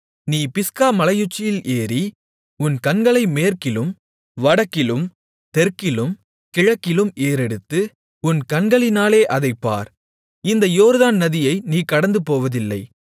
நீ பிஸ்கா மலையுச்சியில் ஏறி உன் கண்களை மேற்கிலும் வடக்கிலும் தெற்கிலும் கிழக்கிலும் ஏறெடுத்து உன் கண்களினாலே அதைப் பார் இந்த யோர்தான் நதியை நீ கடந்துபோவதில்லை